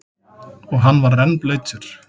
Og hann var rennblautur.